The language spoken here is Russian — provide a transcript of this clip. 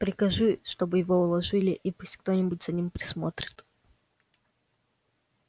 прикажи чтобы его уложили и пусть кто-нибудь за ним присмотрит